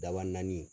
Daba naani